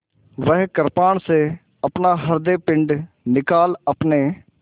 वह कृपाण से अपना हृदयपिंड निकाल अपने